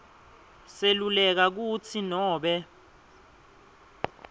seluleka kutsi nobe